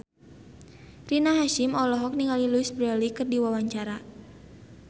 Rina Hasyim olohok ningali Louise Brealey keur diwawancara